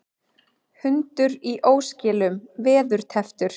Hundur í óskilum veðurtepptur